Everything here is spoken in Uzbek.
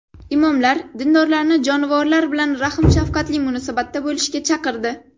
Imomlar dindorlarni jonivorlar bilan rahm-shafqatli munosabatda bo‘lishga chaqirdi.